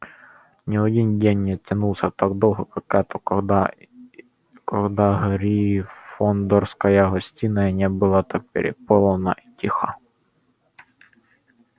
ни один день не тянулся так долго как этот никогда гриффиндорская гостиная не была так переполнена и тиха